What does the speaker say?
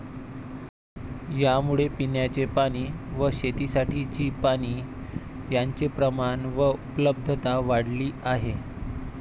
यामुळे पिण्याचे पाणी व शेतीसाठीची पाणी यांचे प्रमाण व उपलब्धता वाढली आहे.